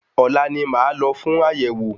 Ọ̀la ni màá lọ fún àyẹ̀wò.